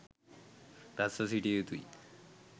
රැස්ව සිටිය යුතු යි.